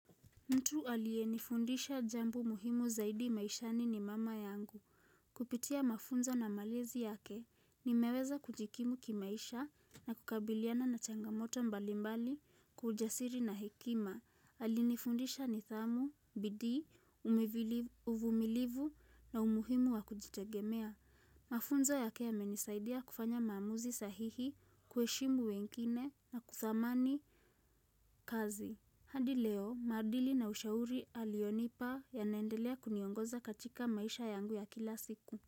Mtu aliyenifundisha jambo muhimu zaidi maishani ni mama yangu. Kupitia mafunzo na malezi yake nimeweza kujikimu kimaisha na kukabiliana na changamoto mbalimbali kwa ujasiri na hekima. Alinifundisha nithamu, bidii uvumilivu na umuhimu wa kujitegemea. Mafunzo yake yamenisaidia kufanya maamuzi sahihi kuheshimu wengine na kuthamani kazi. Hadi leo, maadili na ushauri alionipa yanaendelea kuniongoza katika maisha yangu ya kila siku.